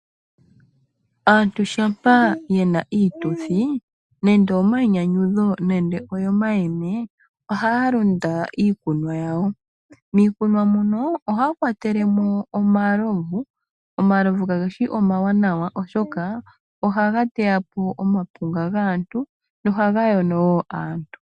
Aantu shampa yena iituthi nande oyomainyanyudho nenge oyomayeme, ohaya landa iikunwa yawo, miikunwa muno ohaya kwatelemo omalovu, omalovu kageshi omawanawa oshoka ohaga teyapo omapunga gaantu nohaga yono woo aantu.